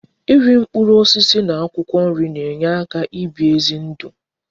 Iri mkpụrụ osisi na akwụkwọ nri na enye aka ibi ezi ndu